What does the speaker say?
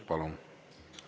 Palun!